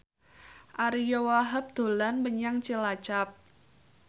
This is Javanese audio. Ariyo Wahab dolan menyang Cilacap